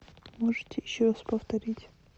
можете еще раз повторить